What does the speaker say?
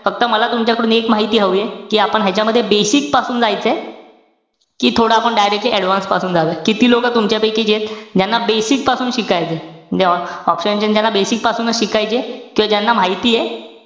फक्त मला तुमच्याकडून एक माहिती हवीये. कि आपण ह्यांच्यामध्ये basic पासून जायचंय कि थोडं आपण directly advanced पासून जाऊया. किती लोक तुमच्यापैकी जेत, ज्यांना basic पासून शिकायचंय? म्हणजे option chain ज्याला basic पासून शिकायचीय किंवा ज्यांना माहितीये,